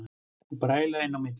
Og bræla inn í milli.